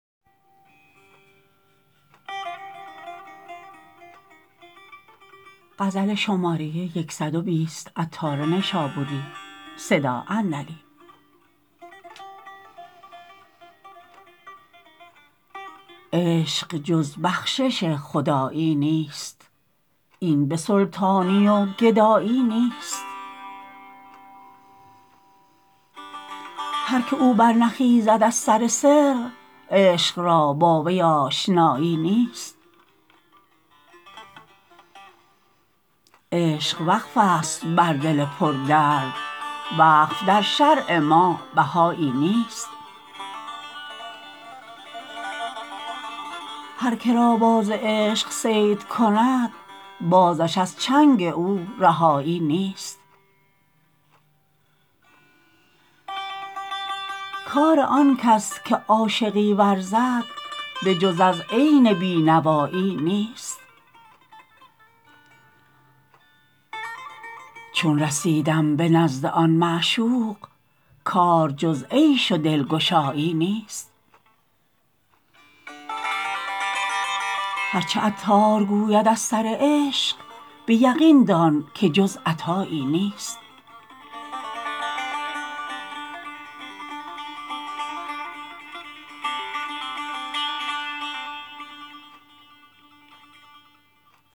عشق جز بخشش خدایی نیست این به سلطانی و گدایی نیست هر که او برنخیزد از سر سر عشق را با وی آشنایی نیست عشق وقف است بر دل پردرد وقف در شرع ما بهایی نیست هر که را باز عشق صید کند بازش از چنگ او رهایی نیست کار آن کس که عاشقی ورزد به جز از عین بی نوایی نیست چون رسیدم به نزد آن معشوق کار جز عیش و دلگشایی نیست هرچه عطار گوید از سر عشق به یقین دان که جز عطایی نیست